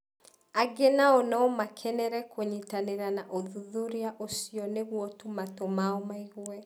Angĩ nao no makenere kũnyitanĩra na ũthuthuria ũcio nĩguo tu matũ mao maigue.